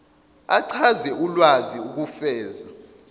achaze ulwazi ukufeza